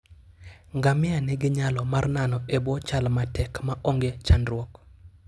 Ngamia nigi nyalo mar nano e bwo chal matek ma onge chandruok.